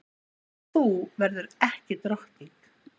Og þú verður ekki drottning.